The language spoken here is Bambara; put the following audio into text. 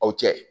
Aw cɛ